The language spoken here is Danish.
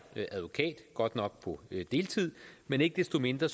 advokat godt nok på deltid men ikke desto mindre